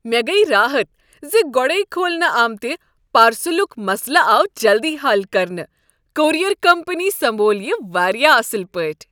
مےٚ گٔیۍ راحت ز گۄڈے کھولنہٕ آمتِہ پارسلُک مسلہٕ آو جلدٕی حل کرنہٕ۔ کورئیر کمپنی سمبول یہ واریاہ اصل پٲٹھۍ۔